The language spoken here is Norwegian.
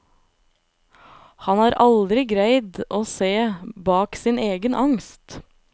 Han har aldri greid å se bak sin egen angst.